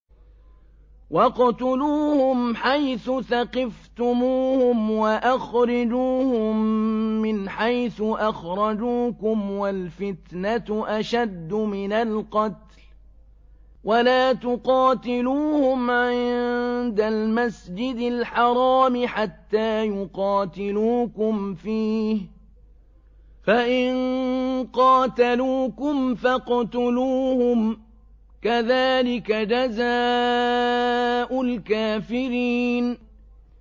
وَاقْتُلُوهُمْ حَيْثُ ثَقِفْتُمُوهُمْ وَأَخْرِجُوهُم مِّنْ حَيْثُ أَخْرَجُوكُمْ ۚ وَالْفِتْنَةُ أَشَدُّ مِنَ الْقَتْلِ ۚ وَلَا تُقَاتِلُوهُمْ عِندَ الْمَسْجِدِ الْحَرَامِ حَتَّىٰ يُقَاتِلُوكُمْ فِيهِ ۖ فَإِن قَاتَلُوكُمْ فَاقْتُلُوهُمْ ۗ كَذَٰلِكَ جَزَاءُ الْكَافِرِينَ